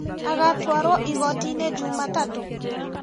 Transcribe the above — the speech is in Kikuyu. Agatwarwo igoti-inĩ jumatatũ?